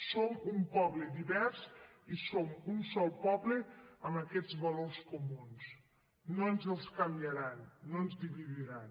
som un poble divers i som un sol poble amb aquests valors comuns no ens els canviaran no ens dividiran